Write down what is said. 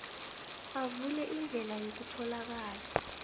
avule indlela yokutholakala